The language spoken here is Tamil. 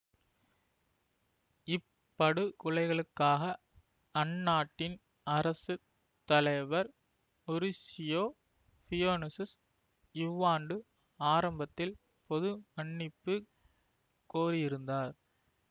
இப்படுகொலைகளுக்காக அந்நாட்டின் அரசு தலைவர் மொரீசியோ ஃபியூனெசு இவ்வாண்டு ஆரம்பத்தில் பொது மன்னிப்பு கோரியிருந்தார்